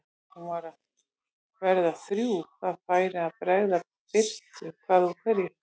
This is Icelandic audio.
Hún var að verða þrjú, það færi að bregða birtu hvað úr hverju.